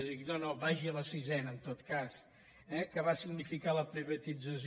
jo dic no no vagi a la sisena en tot cas eh que va significar la privatització